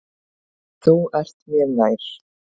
Þú ert mér nær.